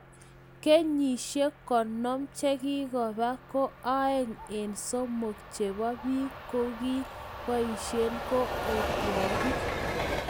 Kenyishek konom chekikoopa ko aenng en somok cchebo bik kokkii boisye ko otwogik